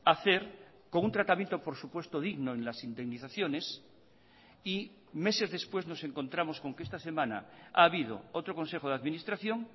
hacer con un tratamiento por supuesto digno en las indemnizaciones y meses después nos encontramos con que esta semana ha habido otro consejo de administración